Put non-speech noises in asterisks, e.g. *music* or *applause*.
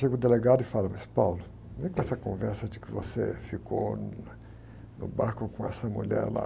Chega o delegado e fala, mas, *unintelligible* vem com essa conversa de que você ficou no barco com essa mulher lá.